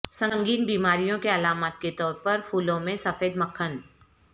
سنگین بیماریوں کے علامات کے طور پر پھولوں میں سفید مکھن